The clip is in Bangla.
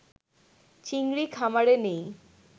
চিংড়ি খামারে নেই